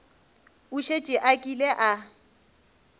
o šetše a kile a